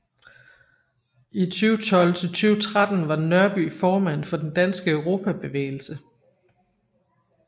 I 2012 til 2013 var Nørby formand for Den Danske Europabevægelse